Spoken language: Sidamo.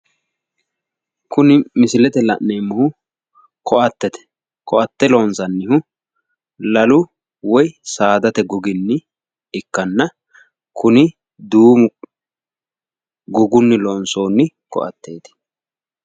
Kuni misilete la'neemmohu koattete, koaate loonsannihu lalu woy saadate gogi ikkanna kuni duumu gogunni loonsoonni koatteeti.